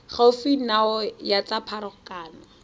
gaufi nao ya tsa pharakano